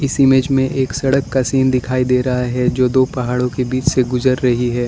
इस इमेज में एक सड़क का सीन दिखाई दे रहा है जो दो पहाड़ों के बीच से गुजर रही है।